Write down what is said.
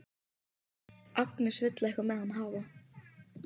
Agnes vill eitthvað með hann hafa.